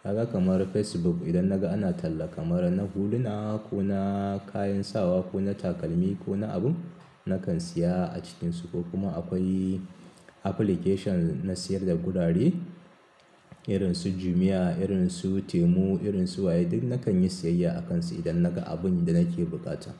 Kaga kamar Facebook idan naga ana talla kamar na huluna ko na kayan sawa ko na takalmi ko wani abun, nakan siya a cikinsu ko kuma akwai application na sayar da gurare. Irin su Jumia, irin su Temu, irin su Waye duk nakan yi siyayya akansu idan naga abun da nake bukata.